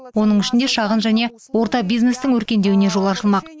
оның ішінде шағын және орта бизнестің өркендеуіне жол ашылмақ